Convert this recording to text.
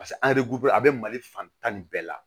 Paseke an a bɛ mali fan tan ni bɛɛ la